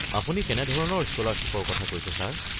আপুনি কেনেধৰণৰ স্কলাৰশ্বিপৰ কথা কৈছে ছাৰ?